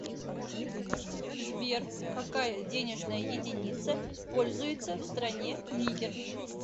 сбер какая денежная единица пользуется в стране нигер